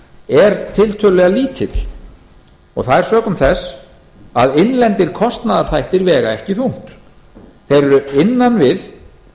er tiltölulega lítill það er sökum þess að innlendir kostnaðarþættir vega ekki þungt þeir eru innan við